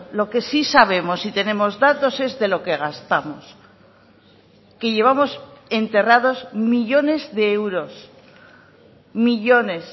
lo que sí sabemos y tenemos datos es de lo que gastamos que llevamos enterrados millónes de euros millónes